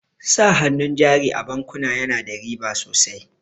Sa hannun jari a bankuna yana da riba sosai.